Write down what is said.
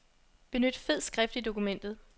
Benyt fed skrift i dokumentet.